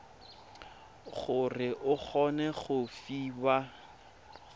gore o kgone go fiwa